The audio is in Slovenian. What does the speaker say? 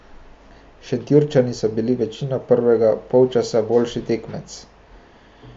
Šentjurčani so bili večino prvega polčasa boljši tekmec.